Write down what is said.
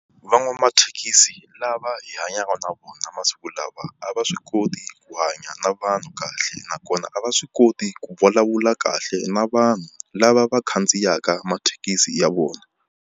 Van'wamathekisi lava hanyaka na vona masiku lawa a va swi koti ku hanya na vanhu kahle, nakona a va swi koti ku vulavula kahle na vanhu lava va khandziyaka mathekisi ya vona.